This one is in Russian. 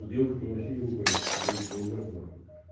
мы с девушкой вообще не ругались стараюсь не ругаться на хуй